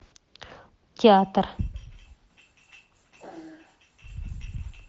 театр